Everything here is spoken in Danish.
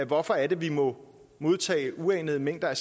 hvorfor er det vi må modtage uanede mængder af